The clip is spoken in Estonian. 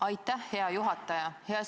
Aitäh, hea juhataja!